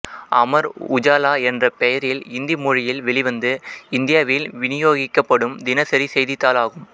அமர் உஜாலா என்ற பெயரில் இந்தி மொழியில் வெளிவந்து இந்தியாவில் விநியோகிக்கப்படும் தினசரி செய்தித்தாள் ஆகும்